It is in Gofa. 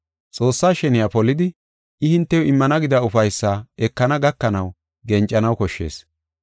Xoossaa sheniya polidi, I hintew immana gida ufaysaa ekana gakanaw gencanaw koshshees.